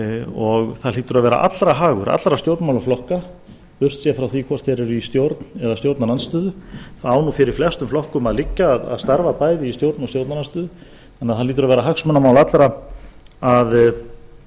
og það hlýtur að vera allra hagur allra stjórnmálaflokka burtséð frá því hvort þeir eru í stjórn eða stjórnarandstöðu það á nú fyrir flestum flokkum að liggja að starfa bæði í stjórn og stjórnarandstöðu þannig að það hlýtur að vera